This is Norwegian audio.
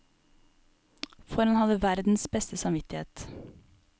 For han hadde verdens beste samvittighet.